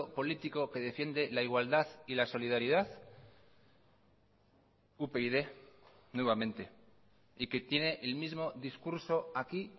político que defiende la igualdad y la solidaridad upyd nuevamente y que tiene el mismo discurso aquí